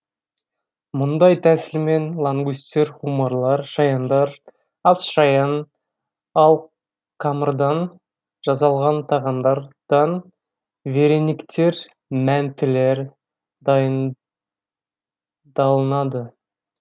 мұндай тәсілмен лангустер омарлар шаяндар асшаян ал қамырдан жасалған тағамдардан верениктер мәнтілер дайындалынады